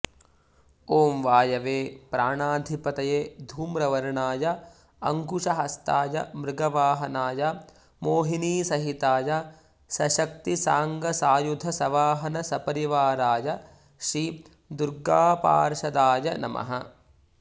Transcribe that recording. ॐ वायवे प्राणाधिपतये धूम्रवर्णाय अङ्कुशहस्ताय मृगवाहनाय मोहिनीसहिताय सशक्तिसाङ्गसायुध सवाहन सपरिवाराय श्री दुर्गापार्षदाय नमः